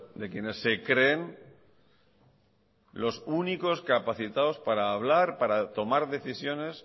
de quienes se creen los únicos capacitados para hablar para tomar decisiones